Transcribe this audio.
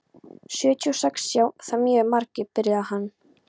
Sjötíu og sex sjá það mjög margir, byrjaði hann.